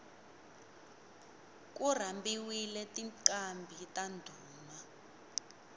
ku rhambiwile tinqambhi ta ndhuma